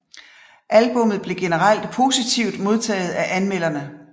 Albummet blev generelt positivt modtaget af anmelderne